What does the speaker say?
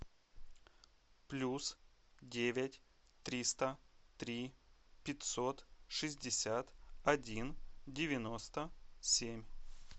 плюс девять триста три пятьсот шестьдесят один девяносто семь